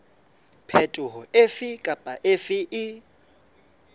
phetoho efe kapa efe e